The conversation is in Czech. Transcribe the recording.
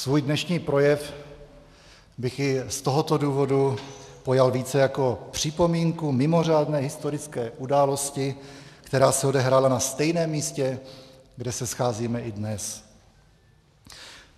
Svůj dnešní projev bych i z tohoto důvodu pojal více jako připomínku mimořádné historické události, která se odehrála na stejném místě, kde se scházíme i dnes.